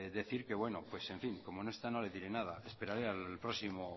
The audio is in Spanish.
decir que bueno pues en fin como no está no le diré nada esperaré a